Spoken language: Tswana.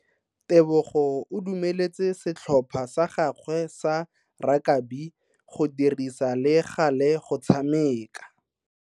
Tebogo o dumeletse setlhopha sa gagwe sa rakabi go dirisa le gale go tshameka.